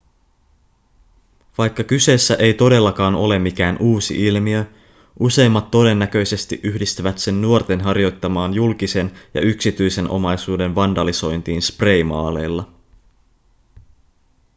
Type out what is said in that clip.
vaikka kyseessä ei todellakaan ole mikään uusi ilmiö useimmat todennäköisesti yhdistävät sen nuorten harjoittamaan julkisen ja yksityisen omaisuuden vandalisointiin spraymaaleilla